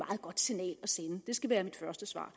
godt signal at sende det skal være mit første svar